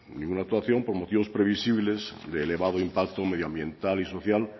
ninguna actuación por motivos previsibles de elevado impacto medioambiental y social